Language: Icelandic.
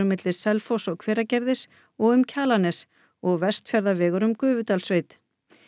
milli Selfoss og Hveragerðis og um Kjalarnes og Vestfjarðarvegur um Gufudalssveit